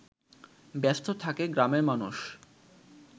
ব্যস্ত থাকে গ্রামের মানুষ